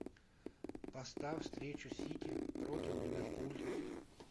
поставь встречу сити против ливерпуль